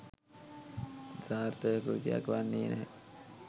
සාර්ථක කෘතියක් වන්නේ නැහැ.